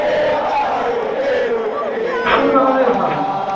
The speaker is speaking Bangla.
সেও তো আমিও ভাবছি